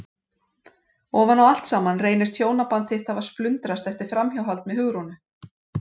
Ofan á allt saman reynist hjónaband þitt hafa splundrast eftir framhjáhald með Hugrúnu!